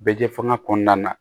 Bɛ kɛ fanga kɔnɔna na